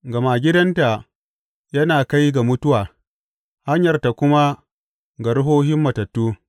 Gama gidanta yana kai ga mutuwa hanyarta kuma ga ruhohin matattu.